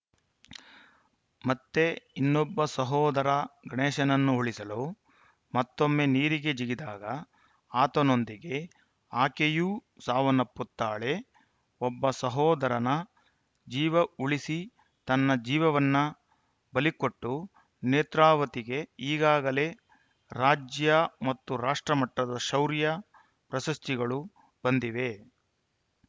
ಮತ್ತೆ ಇನ್ನೊಬ್ಬ ಸಹೋದರ ಗಣೇಶನನ್ನು ಉಳಿಸಲು ಮತ್ತೊಮ್ಮೆ ನೀರಿಗೆ ಜಿಗಿದಾಗ ಆತನೊಂದಿಗೆ ಆಕೆಯೂ ಸಾವನ್ನಪ್ಪುತ್ತಾಳೆ ಒಬ್ಬ ಸಹೋದರನ ಜೀವ ಉಳಿಸಿ ತನ್ನ ಜೀವವನ್ನ ಬಲಿಕೊಟ್ಟು ನೇತ್ರಾವತಿಗೆ ಈಗಾಗಲೇ ರಾಜ್ಯ ಮತ್ತು ರಾಷ್ಟ್ರ ಮಟ್ಟದ ಶೌರ್ಯ ಪ್ರಶಸ್ತಿಗಳು ಬಂದಿವೆ